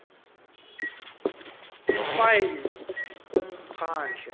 annexure file kumphandle